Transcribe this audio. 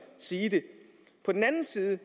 sige det på den anden side